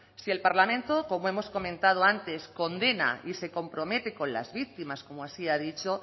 si el parlamento como hemos comentado antes condena y se compromete con las víctimas como así ha dicho